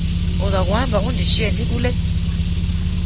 uzakuhamba undishiye ndikule